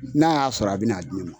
n'a y'a sɔrɔ a bɛ n'a joonɔ